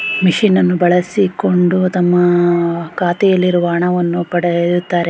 ಮಷೀನ್ನನ್ನು ಬಳಸಿಕೊಂಡು ತಮ್ಮ ಖಾತೆಯಲ್ಲಿಇರುವ ಹಣವನ್ನು ಪಡೆಯುತ್ತಾರೆ.